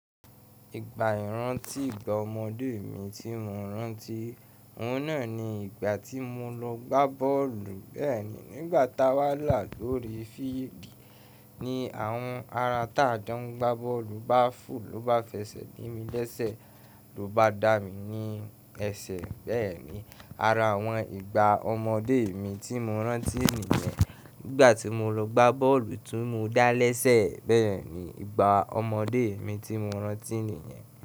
Ìgbà ìrántí ìgbà ọmọdé mi tí mo rántí, òun náà ni ìgbà tí mo lọ gbá bọ́ọ̀lù bẹ́ẹ̀ni nígbà tá wà là lórí fídìì ní àwọn ará tá jó ń gbá bọ́ọ̀lù bá fò ló bá fẹsẹ̀ di mi lésẹ̀ ló bá dá mi ní ẹsẹ̀ bẹ́ẹ̀ni ara àwọn ìgbà ọmọdé mi tí mo rántí nìyẹn, nígbà tí mo lọ gbá bọ́ọ̀lù tún mo dá lésẹ̀ bẹ́ẹ̀ni ìgbà ọmọdé mi tí mo rántí nìyẹn.